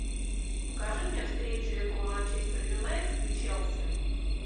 покажи мне встречу эпл манчестер юнайтед и челси